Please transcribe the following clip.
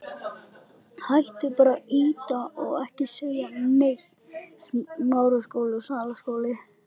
Með honum var ég sterk.